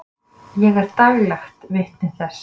Ég er daglegt vitni þess.